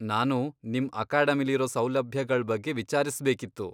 ನಾನು ನಿಮ್ ಅಕಾಡೆಮಿಲಿರೋ ಸೌಲಭ್ಯಗಳ್ ಬಗ್ಗೆ ವಿಚಾರ್ಸ್ಬೇಕಿತ್ತು.